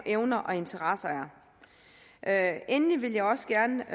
evner og interesser er endelig vil jeg også gerne